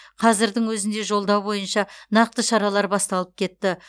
қазірдің өзінде жолдау бойынша нақты шаралар басталып кетті